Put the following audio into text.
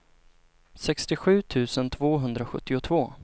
sextiosju tusen tvåhundrasjuttiotvå